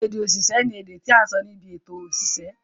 Ède òṣìṣẹ́ ni èdè tí à ń sọ ní ibi èto òṣìṣẹ́.